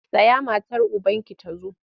Tsaya matar ubanki ta zo!